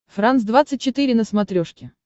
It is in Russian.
франс двадцать четыре на смотрешке